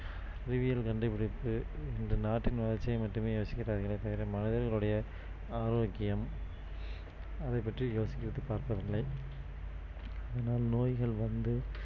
அறிவியல் கண்டுபிடிப்பு என்று நாட்டின் வளர்ச்சியை மட்டுமே யோசிக்கின்றார்களே தவிர மனிதர்கள் உடைய ஆரோக்கியம் அதை பற்றி யோசித்துப் பார்ப்பதில்லை அதனால் நோய்கள் வந்து